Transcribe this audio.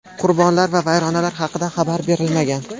Qurbonlar va vayronalar haqida xabar berilmagan.